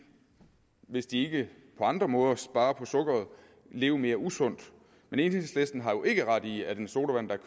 hvis de ikke på andre måder sparer på sukkeret leve mere usundt men enhedslisten har jo ikke ret i at en sodavand der